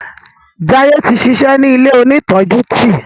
Jaiye tí ṣiṣẹ ní ilẹ òní tọjú tí.